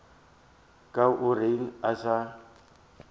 ka o reng a sa